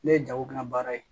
Ne ye jago kɛla baara ye